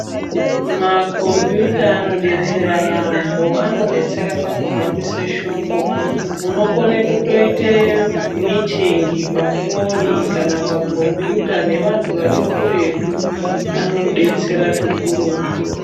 Makombiyuta ano detsera yambo ano detsera paku hambise shoko unokone kutoite mitingi pafoni kana pa kombiyuta ne vantu vari kuretu ano betsera zvikurutu.